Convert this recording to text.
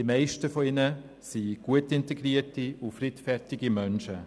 Die meisten von ihnen sind gut integrierte und friedfertige Menschen.